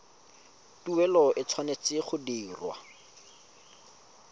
tuelo e tshwanetse go dirwa